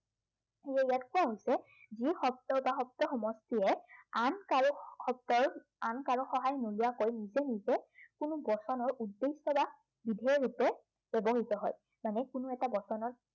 যি শব্দ বা শব্দ সমষ্টিয়ে আন কাৰো শব্দৰ, আন কাৰো সহায় নোলোৱাকৈ নিজে নিজে, কোনো বচনৰ উদ্দেশ্য় বা বিধেয়ৰূপে ব্য়ৱহৃত হয়। যেনে কোনো এটা বচনত